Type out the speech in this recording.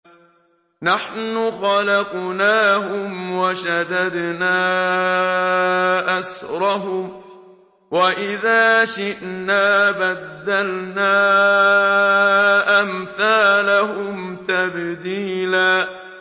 نَّحْنُ خَلَقْنَاهُمْ وَشَدَدْنَا أَسْرَهُمْ ۖ وَإِذَا شِئْنَا بَدَّلْنَا أَمْثَالَهُمْ تَبْدِيلًا